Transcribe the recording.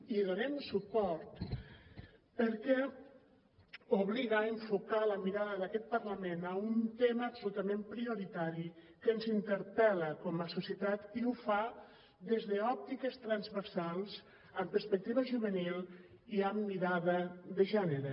hi donem suport perquè obliga a enfocar la mirada d’aquest parlament a un tema absolutament prioritari que ens interpel·la com a societat i ho fa des d’òptiques transversals amb perspectiva juvenil i amb mirada de gènere